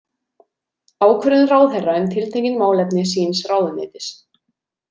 Ákvörðun ráðherra um tiltekin málefni síns ráðuneytis.